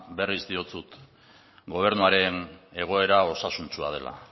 berriz diotzut gobernuaren egoera osasuntsua dela